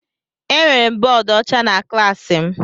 Enwere m bọọdụ ọcha na klaasị m.